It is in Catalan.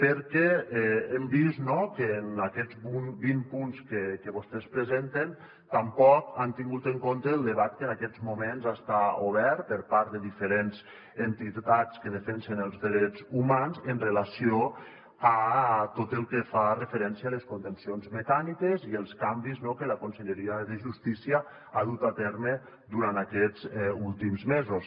perquè hem vist que en aquests vint punts que vostès presenten tampoc han tingut en compte el debat que en aquests moments està obert per part de diferents entitats que defensen els drets humans amb relació a tot el que fa referència a les contencions mecàniques i els canvis que la conselleria de justícia ha dut a terme durant aquests últims mesos